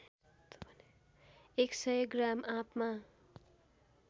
एक सय ग्राम आँपमा